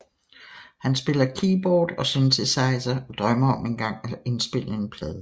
Han spiller keyboard og synthesizer og drømmer om engang at indspille en plade